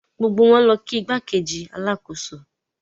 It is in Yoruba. Gbogbo wọn lọ kí igbákejì alákòóso.